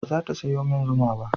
Ba za ta sayo min zuma ba